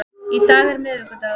Í dag er miðvikudagur.